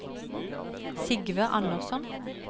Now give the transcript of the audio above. Sigve Andersson